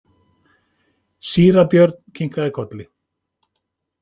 Síra Björn kinkaði kolli.